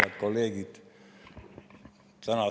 Head kolleegid!